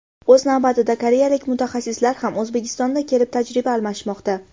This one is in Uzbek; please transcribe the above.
O‘z navbatida koreyalik mutaxassislar ham O‘zbekistonda kelib, tajriba almashmoqda.